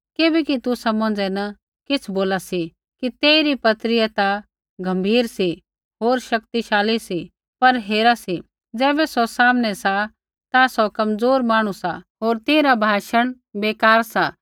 किबैकि तुसा मौंझ़ै न किछ़ बोला सी कि तेइरी पत्रीया ता गम्भीर सी होर शक्तिशाली सी पर हेरा सी ज़ैबै सौ सामनै सा ता सौ कमज़ोर मांहणु सा होर तेइरा भाषण बेकार सा